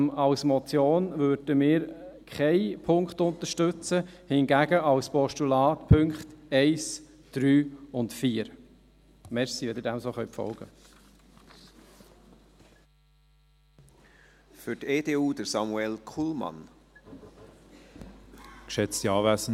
Als Motion würden wir keinen Punkt unterstützen, hingegen als Postulat die Punkte 1, 3 und 4. Danke, wenn Sie dem so folgen können.